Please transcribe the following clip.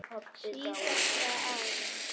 Síðustu árin